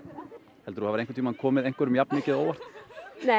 hefurðu einhvern tímann komið einhverjum jafnmikið á óvart nei